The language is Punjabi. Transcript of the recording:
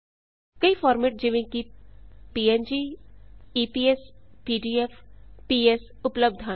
ਕਈ ਫਾਰਮੇਟ ਜਿਵੇਂ ਪੰਗ ਈਪੀਐੱਸ ਪੀਡੀਐਫ ਪੀਐਸ ਉਪਲਬਧ ਹਨ